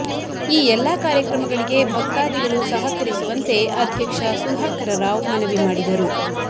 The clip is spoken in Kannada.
ಈ ಎಲ್ಲಾ ಕಾರ್ಯಕ್ರಮಗಳಿಗೆ ಭಕ್ತಾದಿಗಳು ಸಹಕರಿಸುವಂತೆ ಅಧ್ಯಕ್ಷ ಸುಧಾಕರ ರಾವ್ ಮನವಿ ಮಾಡಿದರು